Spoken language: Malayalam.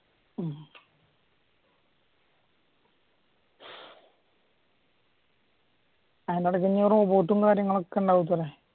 അയിൻറ്റെടക്ക് കാര്യങ്ങളും ഒക്കെ ഉണ്ടാവില്ലേ